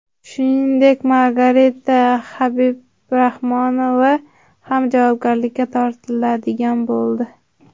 Shuningdek, Margarita Habibrahmanova ham javobgarlikka tortiladigan bo‘ldi.